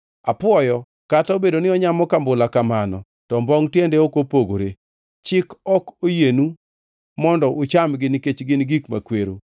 Apwoyo kata obedoni onyamo kambula kamano, to ombongʼ tiende ok opogore, chik ok oyienu mondo uchamgi nikech gin gik makwero.